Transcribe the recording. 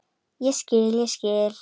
Ég skil, ég skil.